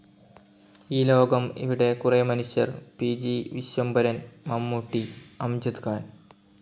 ഇൌ ലോകം ഇവിടെ കുറെ മനുഷ്യർ പി.ജി. വിശ്വംഭരൻ മമ്മൂട്ടി, അംജദ് ഖാൻ